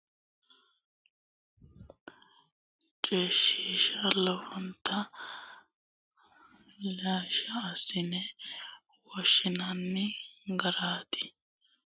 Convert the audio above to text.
Borreessate Bude Qoonqote Duu rama Xawishsha Duu rama yaa coyshiishamaancho qoonqo lame lame ikkite mitte qoonqo riqibbe borreessanteenna hakkonne qaale coyshiinshanni woyteno lishshi assine woshshinanni garaati.